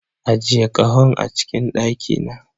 Ajiye kahon a cikin daki na.